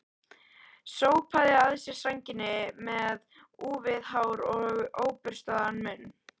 Sópaði að sér sænginni með úfið hár og óburstaðan munn.